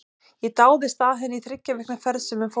Ég dáðist að henni í þriggja vikna ferð sem við fórum til